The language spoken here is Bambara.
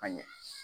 A ɲɛ